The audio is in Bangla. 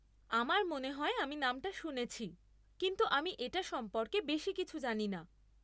আমার মনে হয় আমি নামটা শুনেছি, কিন্তু আমি এটা সম্পর্কে বেশী কিছু জানি না।